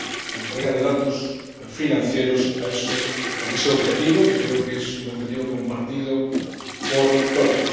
la entrega de datos financieros con ese objetivo, que creo es un objetivo compartido por todos.